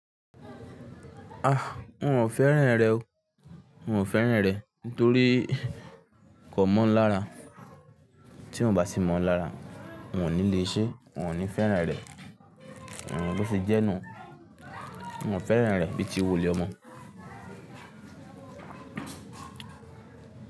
Ah! N o fèrán rè o. N o fèrán rè nítorí kò mọ̀ ń lára. Tí eeyan o bá ti mọ̀ lára, won o ní le ṣé, won o ní fèrán rè. Hmm, Bo ṣe jẹ́ nu. N o fèrán rè bíi ti wulè ọ mọ.